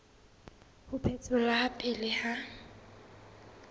ho phetholwa ha pele ha